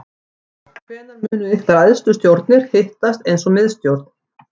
Heimir Már: Hvenær munu ykkar æðstu stjórnir hittast eins og miðstjórn?